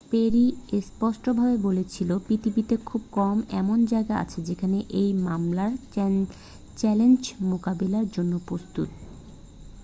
"Peri স্পষ্টভাবে বলেছিলেন "পৃথিবীতে খুব কম এমন জায়গা আছে যেগুলো এই মামলার চ্যালেঞ্জ মোকাবিলার জন্য প্রস্তুত।""